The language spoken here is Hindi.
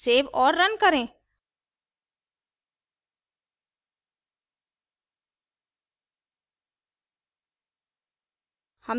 सेव और run करें